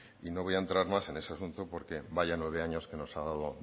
y no voy a entrar más en ese asunto porque vaya nueve años que nos ha dado